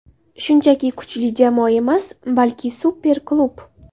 Shunchaki kuchli jamoa emas, balki super klub!